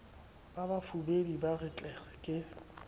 bafubedi ba re tlere ke